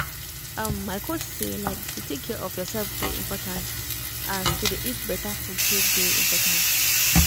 um my coach say like to take care of yourself dey important as to dey eat better food take dey important